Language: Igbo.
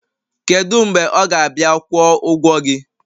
kedu mgbe ọ ga-abịa kwụọ ụgwọ gị?